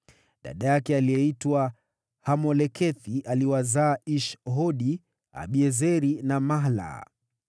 Dada yake aliyeitwa Hamolekethi aliwazaa Ish-Hodi, Abiezeri na Mahla.